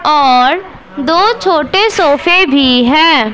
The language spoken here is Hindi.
और दो छोटे सोफे भी हैं।